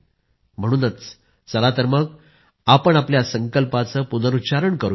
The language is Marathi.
म्हणूनच चला तर मग आपण आपल्या संकल्पांचे पुनरूच्चारण करू या